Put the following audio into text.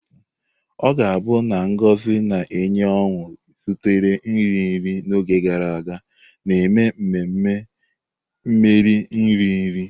Ọ ga-abụ na ngozi na-enye ọṅụ zutela nri nri n'oge gara aga, na-eme ememe mmeri nri nri.